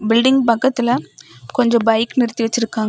Building பக்கத்துல கொஞ்சம் bike நிறுத்தி வச்சிருக்காங்க.